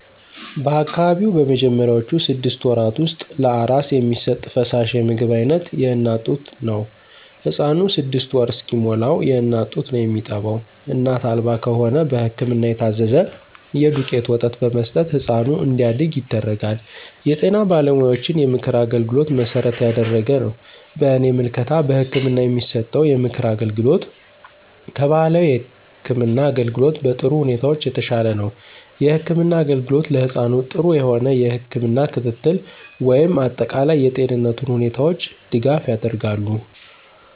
በአካባቢው በመጀመሪያውቹ ስድስት ወራት ውስጥ ለአራስ የሚሰጥ ፈሳሽ የምግብ አይነት የእናት ጡት ነው። ህፃኑ ስድስት ወር እስከሚሞላዉ የእናት ጡት ነው የሚጠባው እናት አልባ ከሆነ በህክምና የታዘዘ የዱቄት ወተት በመስጠት ህፃኑ እንዲያድግ ይደረጋል። የጤና ባለሙያዎችን የምክር አገልግሎት መሠረት ያደረገ ነው። በእኔ ምልከታ በህክምና የሚሰጠው የምክር አገልግሎት ከባህላዊ የህክም አገልግሎት በጥሩ ሁኔታዎች የተሻለ ነው። የህክምና አገልግሎት ለህፃኑ ጥሩ የሆነ የህክም ክትትል ወይም አጠቃላይ የጤንነቱ ሁኔታዎች ድጋፍ ያደርጋሉ።